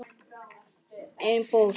Einn fórst.